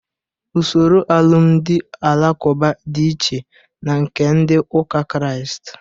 Usoro alụmdị ndị alakụba dị iche na nke ndị ụka Krịast